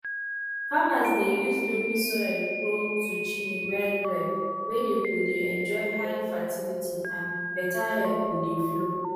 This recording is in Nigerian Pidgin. farmers dey use dey use loamy soil grow zucchini well well wey dey go dey enjoy high fertility and better air go dey flow